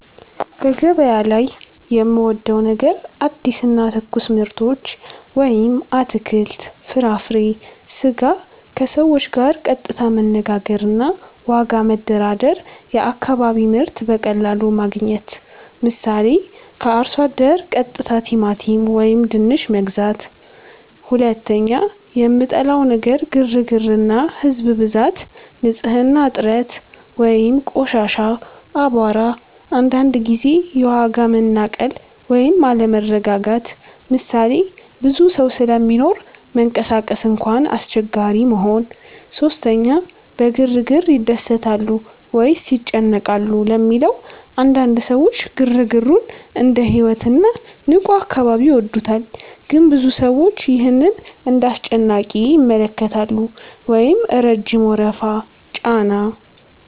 ) በገበያ ላይ የምወዴው ነገር አዲስ እና ትኩስ ምርቶች (አትክልት፣ ፍራፍሬ፣ ስጋ) ከሰዎች ጋር ቀጥታ መነጋገር እና ዋጋ መደራደር የአካባቢ ምርት በቀላሉ ማግኘት 👉 ምሳሌ፦ ከአርሶ አደር ቀጥታ ቲማቲም ወይም ድንች መግዛት 2) የምጠላው ነገር ግርግር እና ህዝብ ብዛት ንጽህና እጥረት (ቆሻሻ፣ አቧራ) አንዳንድ ጊዜ የዋጋ መናቀል ወይም አለመረጋጋት ምሳሌ፦ ብዙ ሰው ስለሚኖር መንቀሳቀስ እንኳን አስቸጋሪ መሆን 3) በግርግር ይደሰታሉ ወይስ ይጨነቃሉ ለሚለው? አንዳንድ ሰዎች ግርግሩን እንደ ሕይወት እና ንቁ አካባቢ ይወዱታል ግን ብዙ ሰዎች ይህን እንደ አስጨናቂ ይመለከታሉ (ረጅም ወረፋ፣ ጫና)